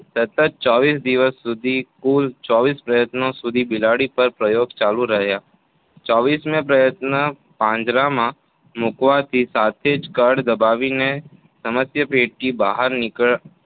સતત ચોવીસ દિવસ સુધી કુલ ચોવીસ પ્રયત્નો સુધી બિલાડી પર પ્રયોગો ચાલુ રહ્યા ચોવીસ મે પ્રયત્ને પાંજરામાં મૂકવા થી સાથે જ કળ દબાવીને સમસ્યાપેટીની બહાર નીકળ